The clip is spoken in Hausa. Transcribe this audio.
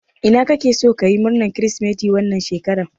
Ina kake so kayi murnan kiristimeti wannan shekara?